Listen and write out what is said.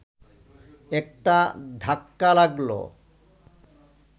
একটা ধাক্কা লাগলো